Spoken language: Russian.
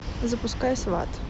запускай сваты